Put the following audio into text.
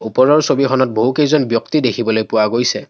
ওপৰৰ ছবিখনত বহুকেইজন ব্যক্তি দেখিবলৈ পোৱা গৈছে।